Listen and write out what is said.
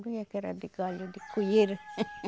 Doía que era de galho, de.